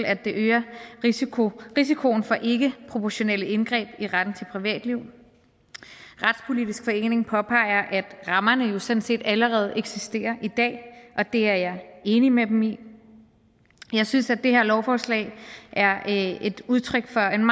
at det øger risikoen risikoen for ikkeproportionale indgreb i retten til privatliv retspolitisk forening påpeger at rammerne jo sådan set allerede eksisterer i dag og det er jeg enig med dem i jeg synes at det her lovforslag er et udtryk for en